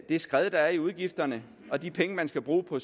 det skred der er i udgifterne de penge man skal bruge på